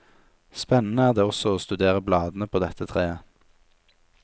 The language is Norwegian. Spennede er det også å studere bladene på dette treet.